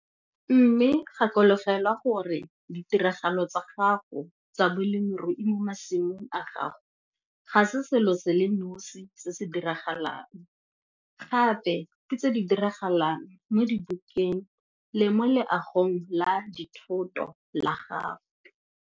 Mme gakologelwa gore ditiragalo tsa gago tsa bolemirui mo masimong a gago ga se selo se le nosi se se diragalang, gape ke tse di diragalang mo dibukeng le mo leagong la dithoto la gago.